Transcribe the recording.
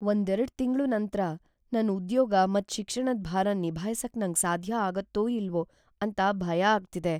ಒಂದೆರಡ್ ತಿಂಗ್ಳು ನಂತ್ರ ನನ್ ಉದ್ಯೋಗ ಮತ್ ಶಿಕ್ಷಣದ್ ಭಾರನ್ ನಿಭಾಯಿಸಕ್ ನಂಗ್ ಸಾಧ್ಯ ಆಗುತ್ತೋ ಇಲ್ವೋ ಅಂತ ಭಯ ಆಗ್ತಿದೆ.